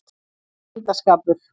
Það er myndarskapur.